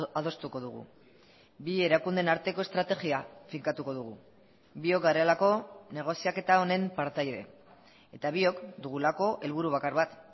adostuko dugu bi erakundeen arteko estrategia finkatuko dugu biok garelako negoziaketa honen partaide eta biok dugulako helburu bakar bat